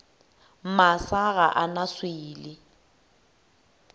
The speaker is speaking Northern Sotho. masa ga a na swele